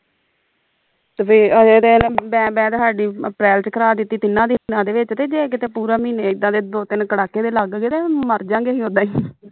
ਤੇ ਵੇਖ ਅਜੇ ਤੇ ਬੈ ਬੈ ਤੇ ਹਾਡੀ ਅਪਰੈਲ ਵਿਚ ਕਰਾ ਦਿੱਤੀ ਤਿੰਨਾਂ ਦੇ ਵਿਚ ਤੇ ਜੇ ਕਿਤੇ ਪੂਰਾ ਮਹੀਨੇ ਇੱਦਾਂ ਦੇ ਦੋ ਤਿੰਨ ਕੜਾਕੇ ਦੇ ਲੱਗ ਗਏ ਤੇ ਮਰਜਾ ਗੇ ਅਹੀ ਉੱਦਾਂ ਹੀ